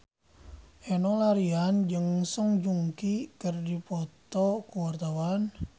Enno Lerian jeung Song Joong Ki keur dipoto ku wartawan